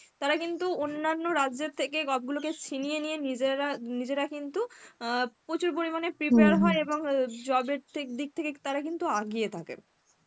তারা কিন্তু অনান্য রাজ্যের থেকে job গুলোকে ছিনিয়ে নিয়ে নিজেরা নিজেরা কিন্তু অ্যাঁ প্রচুর পরিমানে prepare হয় এবং job এর থে দিক থেকে তারা কিন্তু আগিয়ে থাকে.